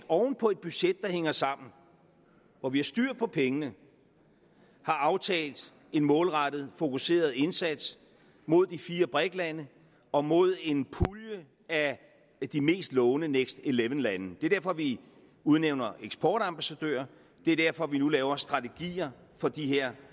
oven på et budget der hænger sammen hvor vi har styr på pengene har aftalt en målrettet fokuseret indsats mod de fire brik lande og mod en pulje af de mest lovende next eleven lande det er derfor vi udnævner eksportambassadører det er derfor vi nu laver strategier for de her